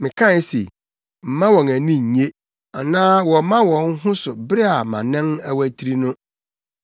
Mekae se, “Mma wɔn ani nnye; anaa wɔmma wɔn ho so bere a mʼanan awatiri no.”